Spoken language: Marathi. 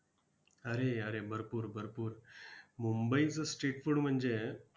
अरे अरे, भरपूर भरपूर! मुंबईचं street food म्हणजे,